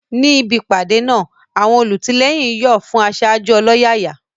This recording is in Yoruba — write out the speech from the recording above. Níbi ìpàdé náà, àwọn olùtìlẹ́yìn ń yọ̀ fún aṣáájú ọlọ́yàyà.